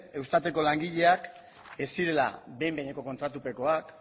eustateko langileak ez zirela behin behineko kontratupekoak